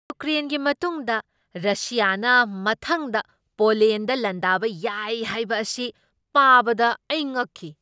ꯌꯨꯀ꯭ꯔꯦꯟꯒꯤ ꯃꯇꯨꯡꯗ ꯔꯁꯤꯌꯥꯅ ꯃꯊꯪꯗ ꯄꯣꯂꯦꯟꯗ ꯂꯥꯟꯗꯥꯕ ꯌꯥꯏ ꯍꯥꯏꯕ ꯑꯁꯤ ꯄꯥꯕꯗ ꯑꯩ ꯉꯛꯈꯤ ꯫